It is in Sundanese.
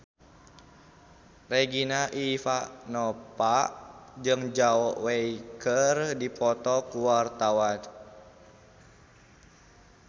Regina Ivanova jeung Zhao Wei keur dipoto ku wartawan